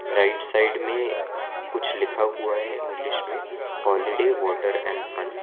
Right side में कुछ लिखा हुआ है इंग्लिश में हॉलीडे वाटर एंड फन ।